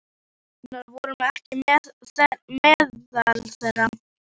Við systurnar vorum ekki meðal þeirra.